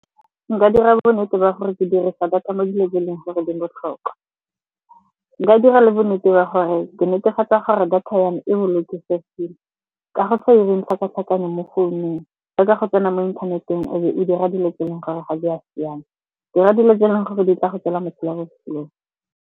Nka dira bonnete ba gore ke dirisa data mo dilong tse e leng gore di botlhokwa. Nka dira le bonnete ba gore ke netefatsa gore data ya me e bolokesegile. Ka go sa 'ireng tlhakatlhakano mo founung. Leka go tsena mo inthaneteng e be o dira dilo tse e leng gore ga di a siama. Dira dilo tse e leng gore di tla go tswela mosola ko sekolong.